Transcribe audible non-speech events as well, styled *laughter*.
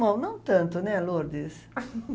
Bom, não tanto, né, Lourdes? *laughs*